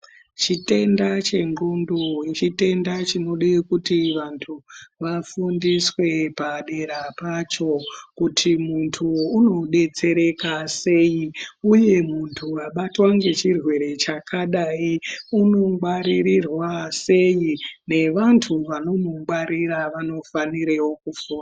Chitenda che ndxondo chitenda chinode kuti vantu vafundiswe padera pacho kuti muntu uno detsereka sei uye muntu abatwa nge chirwere chakadai uno ngwaririrwa sei ne vantu vano mungwaririra vano fanirewo kufunda.